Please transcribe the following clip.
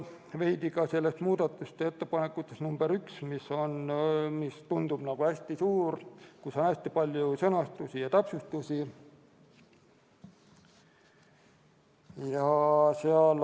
Veidi muudatusettepanekust number 1, mis tundub hästi mahukas, seal on väga palju sõnastusi ja täpsustusi.